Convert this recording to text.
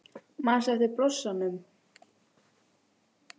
Manstu eftir blossanum?